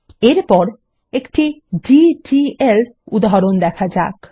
এরপর একটি ডিডিএল উদাহরণ দেখা যাক